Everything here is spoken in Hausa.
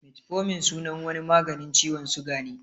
Metformin sunan wani maganin ciwon suga ne